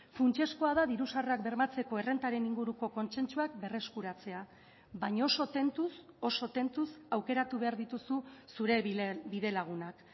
funtsezkoa da diru sarrerak bermatzeko errentaren inguruko kontsentsuak berreskuratzea baina oso tentuz oso tentuz aukeratu behar dituzu zure bidelagunak